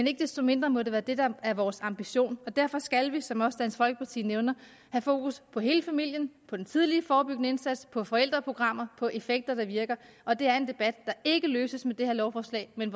ikke desto mindre må det være det der er vores ambition og derfor skal vi som også dansk folkeparti nævner have fokus på hele familien på den tidlige forebyggende indsats på forældreprogrammer og på effekter der virker og det er en debat der ikke løses med det her lovforslag men